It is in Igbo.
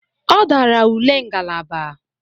Ọ dara ule ngalaba.